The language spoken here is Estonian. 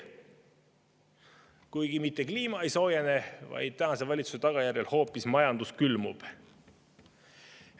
Kuigi mitte kliima ei soojene, vaid tänase valitsuse tagajärjel hoopis majandus külmub.